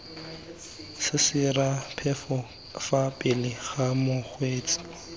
sesiraphefo fa pele ga mokgweetsi